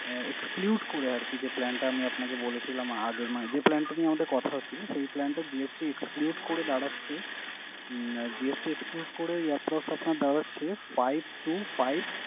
আহ exclude করে আরকি যে plan টা আমি আপনাকে বলেছিলাম আগে আহ যে plan টা নিয়ে আমাদের কথা হচ্ছিলো সেই plan টা GST exclude করে দাঁড়াচ্ছে আহ GST exclude করে approx আপনার দাঁড়াচ্ছে five two five